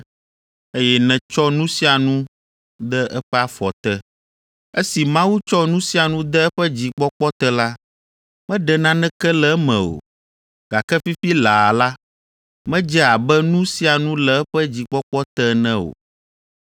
eye nètsɔ nu sia nu de eƒe afɔ te.” Esi Mawu tsɔ nu sia nu de eƒe dzikpɔkpɔ te la, meɖe naneke le eme o. Gake fifi laa la, medze abe nu sia nu le eƒe dzikpɔkpɔ te ene o.